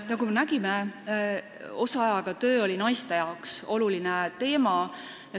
Nagu me nägime, osaajaga töö oli naiste arvates oluline teema.